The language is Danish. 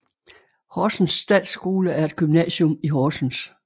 Horsens Statsskole er et gymnasium i Horsens